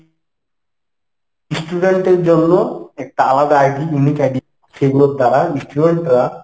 student এর জন্য একটা আলাদা ID unique ID সেইগুলো দ্বারা student রা